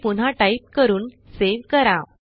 ते पुन्हा टाईप करून सेव्ह करा